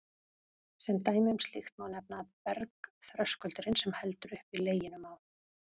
Sem dæmi um slíkt má nefna að bergþröskuldurinn, sem heldur uppi Leginum á